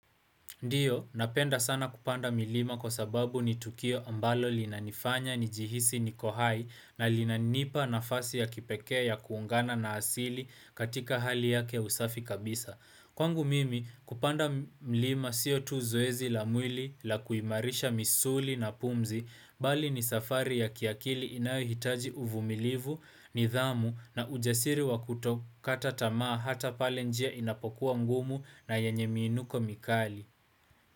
Ndiyo, napenda sana kupanda milima kwa sababu ni Tukio ambalo linanifanya nijihisi niko hai na linanipa nafasi ya kipekee ya kuungana na asili katika hali yake usafi kabisa. Kwangu mimi kupanda mlima sio tu zoezi la mwili la kuimarisha misuli na pumzi, bali ni safari ya kiakili inayohitaji uvumilivu, nidhamu na ujasiri wa kutokata tamaa hata pale njia inapokuwa ngumu na yanye miinuko mikali.